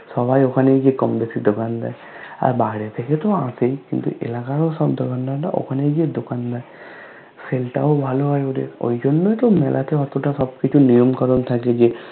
সবাই ওখানে গিয়ে কম বেশি দোকান দেয় আর বাইরে থেকে তো এসেই কিন্তু এলাকারও সব দোকানদাররা ওখানে গিয়ে দোকান দেয় Sale তাও ভালো হয় ওদের ঐজন্যই তো মেলাতে অতটা সবকিছু নিয়ম কানুন থাকে যে